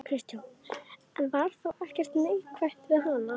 Kristján: En var þá ekkert neikvætt við hana?